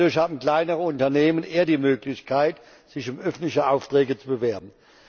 Dadurch haben kleinere Unternehmen eher die Möglichkeit, sich um öffentliche Aufträge zu bewerben.